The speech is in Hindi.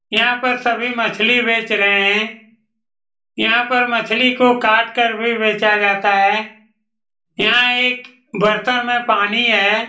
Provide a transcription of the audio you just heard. यहाँ पर सभी मछली बेच रहे हैं यहाँ पर मछली को काट कर भी बेचा जाता हैं यहाँ एक बर्तन में पानी है ।